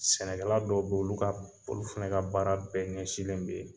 Sɛnɛkɛla dɔw bɛ yen olu ka olu fana ka baara bɛɛ ɲɛsinlen bɛ yen.